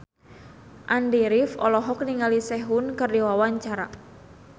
Andy rif olohok ningali Sehun keur diwawancara